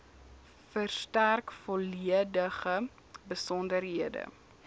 verstrek volledige besonderhede